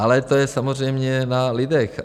Ale to je samozřejmě na lidech.